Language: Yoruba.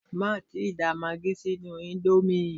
Má tíì da magí sínú íńdómì!